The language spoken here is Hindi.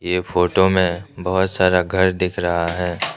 यह फोटो में बहुत सारा घर दिख रहा है।